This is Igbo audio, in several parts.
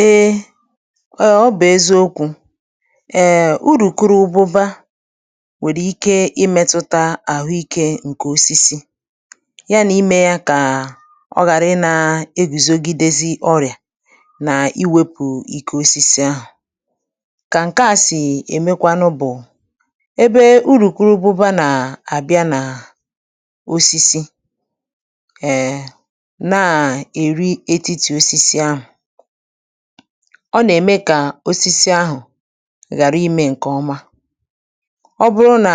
Ee eh ọ bụ̀ eziokwu̇ èe urùkurububa nwèrè ike imėtutȧ àhụ ikė ǹkè osisi ya nà imė yȧ kà ọ ghàra i nà egùzogidezi ọrị̀à nà iwėpù ikė osisi ahụ̀ kà ǹkẹ̀ a sì èmekwanụ bụ̀, ebe urùkurububa nà àbịa nà osisi, eh na eri etiti osisi ahụ, ọ nà-ème kà osisi ahụ̀ ghàra imė ǹkè ọma, ọ bụrụ nà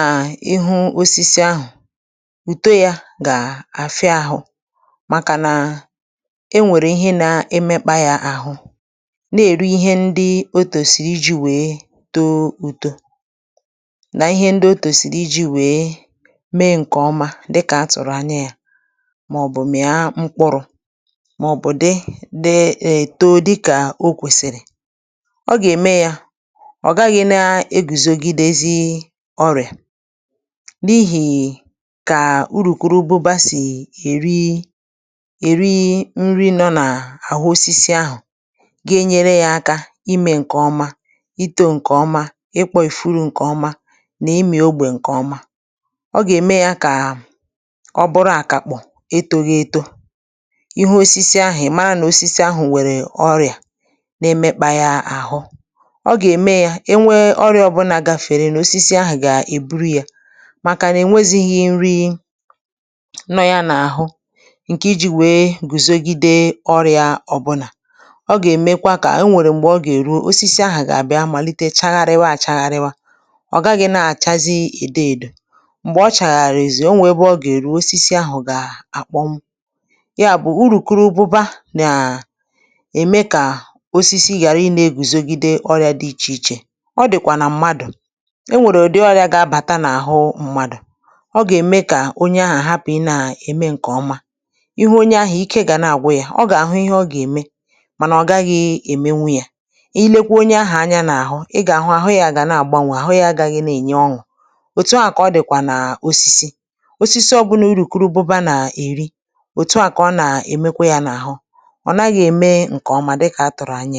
ịhụ̇ osisi ahụ̀ ùto yȧ gà-àfia ahụ̀ màkà nà e nwèrè ihe na-emekpa yȧ àhụ na-èri ihe ndi otòsiri iji̇ wèe too uto, nà ihe ndi o tòsìrì iji̇ wèe mee ǹkè ọma dịkà a tụ̀rụ̀ anya yȧ màọ̀bụ̀ mìa mkpụrụ̇, maọbu dị dị e too dika okwesiri, ọ gà-ème yȧ ọ̀ gaghị̇ na-egùzogidezi ọrị̀à, n’ihì kà urùkurububa sì èri èri nri nọ n’àhụ osisi ahụ̀ ga-enyere yȧ aka imė ǹkè ọma itȯ ǹkè ọma ịkpọ̇ ìfuru ǹkè ọma nà imè ogbè ǹkè ọma, ọ gà-ème yȧ kà ọ bụrụ àkàkpọ̀ eto ghi̇ eto, ịhụ osisi ahụ ịmara na osisi ahu nwere ọrịa na-emekpȧ yȧ àhụ, ọ gà-ème yȧ e nwee ọrịa ọbụnà gafèrè nu osisi àhụ̀ gà-èburu yȧ màkà nà e nwezighi nri nọ ya n’àhụ ǹkè iji̇ wèe gùzogide ọrị̇a ọ̀bụlà ọ gà-èmekwa kà e nwèrè m̀gbè ọ gà-èru osisi àhụ gà-àbịa màlite chagharịwa àchaghariwa ọ̀ gaghị̇ na-àchazi èdo èdò m̀gbè ọ chàghàri èzùo o nwè ebe ọ gà-èru osisi ahụ̀ gà-àkpọ m ya bụ̀ urukorobuba nà eme ka osisi gàra ị nȧ-egùzogide ọrịȧ dị ichè ichè, ọ dị̀kwà nà mmadụ̀ enwèrè òdi ọrịȧ gà-abàta n’àhụ mmadụ̀ ọ gà-ème kà onye ahụ̀ àhapụ̀ị̀ nà ème ǹkè ọma ihu onye ahụ̀ ike gà na-àgwu yȧ ọ gà-àhụ ihe ọ gà-ème mànà ọ gaghị̇ èmenwu yȧ i lekwa onye ahụ̀ anya n’àhụ ị gà-àhụ àhụ yȧ gà na-àgbanwe àhụ yȧ agȧghị na-ènye ọṅụ̀ òtu ahu kà ọ dị̀kwà nà osisi osisi ọbụnà urùkurubụba nà-èri òtu ọ kà ọ nà-èmekwa yȧ n’àhụ onaghi eme nkè ọma dika atụrụ ányá ya.